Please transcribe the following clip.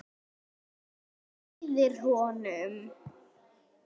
Hann hlýðir honum.